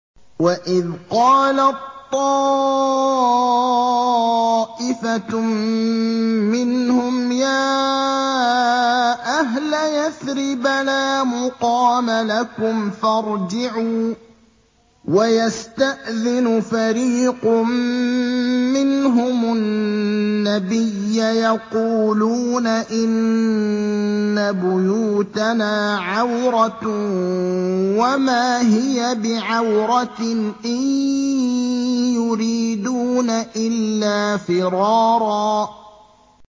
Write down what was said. وَإِذْ قَالَت طَّائِفَةٌ مِّنْهُمْ يَا أَهْلَ يَثْرِبَ لَا مُقَامَ لَكُمْ فَارْجِعُوا ۚ وَيَسْتَأْذِنُ فَرِيقٌ مِّنْهُمُ النَّبِيَّ يَقُولُونَ إِنَّ بُيُوتَنَا عَوْرَةٌ وَمَا هِيَ بِعَوْرَةٍ ۖ إِن يُرِيدُونَ إِلَّا فِرَارًا